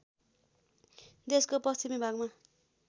देशको पश्चिमी भागमा